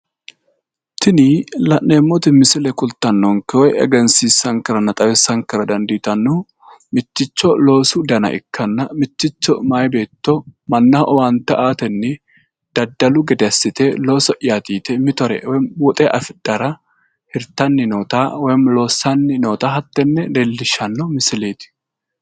Tini misile kulittanonkehu woyi xawisanonkehu mitto loosu danati, isino guma gamba assite babbaxino loosi horo aana hosiisate